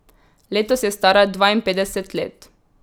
Letos je stara dvainpetdeset let.